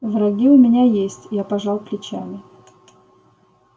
враги у меня есть я пожал плечами